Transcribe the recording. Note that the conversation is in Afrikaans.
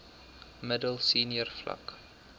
middel senior vlak